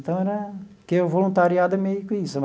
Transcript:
Então era, que o voluntariado é meio que isso.